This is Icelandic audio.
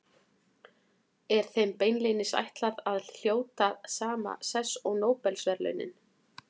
Er þeim beinlínis ætlað að hljóta sama sess og Nóbelsverðlaunin.